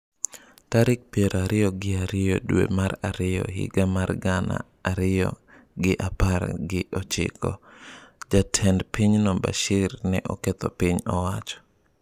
Tarik piero ariyo gi ariyo dwe mar ariyo higa mar gana ariyo gi apar gi ochiko - Jatend pinyno Bashir ne oketho piny owacho.